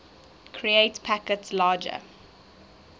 create packets larger